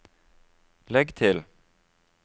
legg til